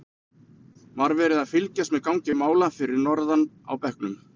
Var verið að fylgjast með gangi mála fyrir norðan á bekknum?